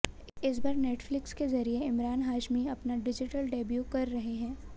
इस बार नेटफ्लिक्स के ज़रिए इमरान हाशमी अपना डिजिटल डेब्यू कर रहे हैं